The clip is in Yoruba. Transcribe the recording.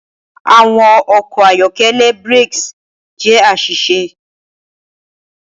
Awọn ọkọ ayọkẹlẹ brakes jẹ aṣiṣe.